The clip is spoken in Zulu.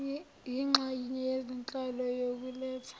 yinxenye yezinhlelo yokuletha